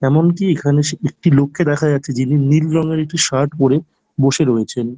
এমন কি এখানে একটি লোককে দেখা যাচ্ছে যিনি নীল রঙের একটি শার্ট পরে বসে রয়েছেন।